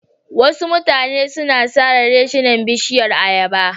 Wasu mutane sun sare reshinan bishiyar ayaba.